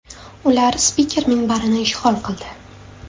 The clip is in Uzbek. Ular spiker minbarini ishg‘ol qildi.